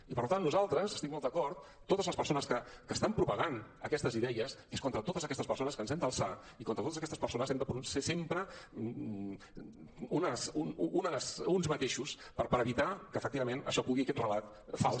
i per tant nosaltres hi estic molt d’acord totes les persones que estan propagant aquestes idees és contra totes aquestes persones que ens hem d’alçar i contra totes aquestes persones hem de ser sempre uns mateixos per evitar que efectivament això pugui aquest relat fals